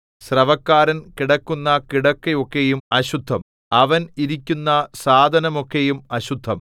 സ്രവക്കാരൻ കിടക്കുന്ന കിടക്ക ഒക്കെയും അശുദ്ധം അവൻ ഇരിക്കുന്ന സാധനമൊക്കെയും അശുദ്ധം